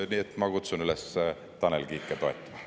Nii et ma kutsun üles Tanel Kiike toetama.